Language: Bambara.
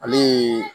Ale ye